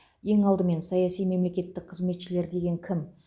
ең алдымен саяси мемлекеттік қызметшілер деген кім